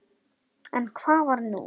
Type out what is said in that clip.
En hvað var nú?